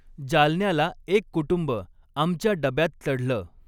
जालन्याला एक कुटुंब आमच्या डब्यात चढलं.